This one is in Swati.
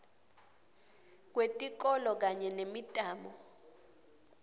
kwetikolo kanye nemitamo